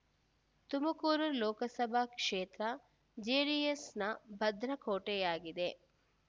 ತುಮಕೂರು ಲೋಕಸಭಾ ಕ್ಷೇತ್ರ ಜೆಡಿಎಸ್‌ನ ಭದ್ರ ಕೋಟೆಯಾಗಿದೆ